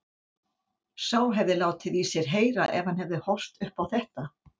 Sá hefði látið í sér heyra ef hann hefði horft upp á þetta!